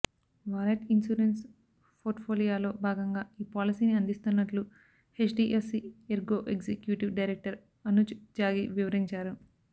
wallet insurance పోర్ట్ఫోలియోలో భాగంగా ఈ పాలసీని అందిస్తున్నట్లు HDFC Ergo executive director Anuj Tyagi వివరించారు